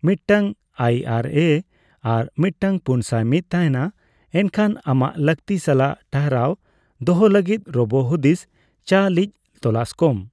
ᱢᱤᱫᱴᱟᱝ ᱟᱭᱹᱟᱨᱹᱮ ᱟᱨ ᱢᱤᱫᱴᱟᱝ ᱯᱩᱱᱥᱟᱭ ᱢᱤᱛ ᱛᱟᱦᱮᱸᱱᱟ, ᱮᱱᱠᱷᱟᱱ ᱟᱢᱟᱜ ᱞᱟᱹᱠᱛᱤ ᱥᱟᱞᱟᱜ ᱴᱟᱨᱦᱟᱣ ᱫᱚᱦᱚ ᱞᱟᱹᱜᱤᱫ ᱨᱳᱵᱳ ᱦᱩᱫᱤᱥ ᱪᱟᱞᱤᱡ ᱛᱚᱞᱟᱥ ᱠᱚᱢ ᱾